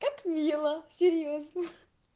как мило серьёзно ха